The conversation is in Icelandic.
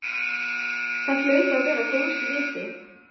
Það hlaut að vera góðs viti.